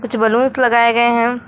कुछ बलून्स लगाए गए है।